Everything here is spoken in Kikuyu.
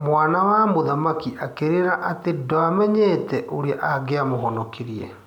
Mwana wa mũthamaki akĩrĩra atĩ ndamenyete ũrĩa angiamahonokirie.